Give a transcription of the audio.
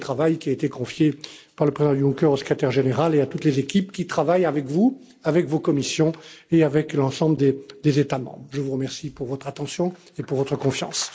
C'est le travail qui a été confié par le président Juncker au Secrétaire général et à toutes les équipes qui travaillent avec vous, avec vos commissions et avec l'ensemble des États membres. Je vous remercie pour votre attention et pour votre confiance.